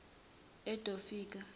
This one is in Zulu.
edofika